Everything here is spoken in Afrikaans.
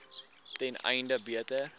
ten einde beter